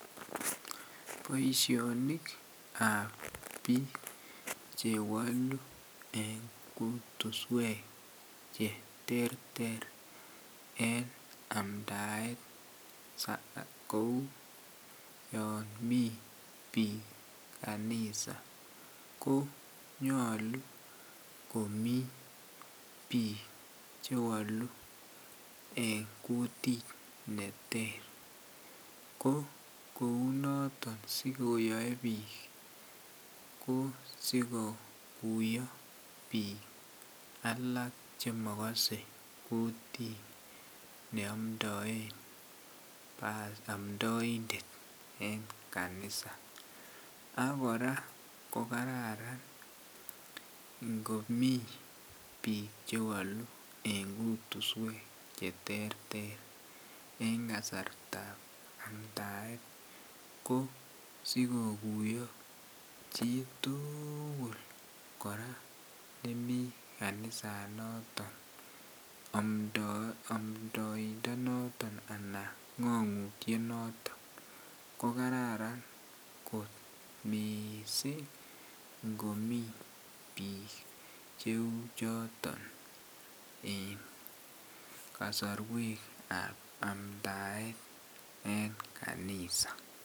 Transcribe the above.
Boishonikab biik chewolu eng' kutuswek cheterter en amdaet kou yon mii biik kanisa konyolu komi biik chewolu eng' kutit neter ko kou noton sikoyoei biik ko sikokuyo biik alak chemakosei kutit neomdoen omdoindet eng' kanisa ak kora ko kararan kokararan ngomi biik chewolu eng' kutuswek cheterter eng' kasartaab amdaet ko sikokuiyo chitugul kora chemi kanisanoton amdoindonoto anan ng'ong'utiet noton ko kararan kot mising' ngomi biik cheu choton en kosorwekaab amdaet en kanisa